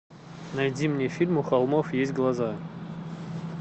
найди мне фильм у холмов есть глаза